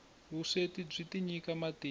vusweti byi tinyika matimba